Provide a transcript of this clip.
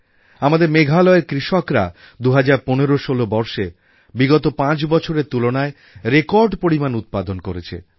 আমাদের মেঘালয়ের কৃষকরা ২০১৫১৬ বর্ষে বিগত পাঁচ বছরের তুলনায় রেকর্ড পরিমাণ উৎপাদন করেছে